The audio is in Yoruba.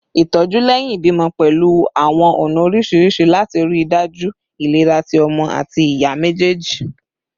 Itoju lẹhin ibimọ pẹlu awọn ọna oriṣiriṣi lati rii daju ilera ti ọmọ ati iya mejeeji